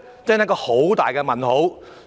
這是個大問號。